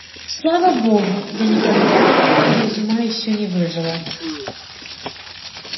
слава богу я не картавлю и из ума ещё не выжила